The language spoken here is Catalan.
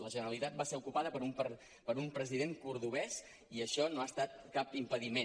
la generalitat va ser ocupada per un president cordovès i això no ha estat cap impediment